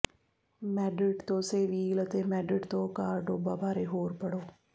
Madrid ਤੋਂ Seville ਅਤੇ Madrid ਤੋਂ ਕਾਰਡੋਬਾ ਬਾਰੇ ਹੋਰ ਪੜ੍ਹੋ